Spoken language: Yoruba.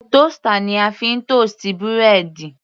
Toaster ni a fi ń toast búrẹ́dì.